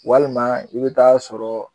Walima i bɛ taa sɔrɔ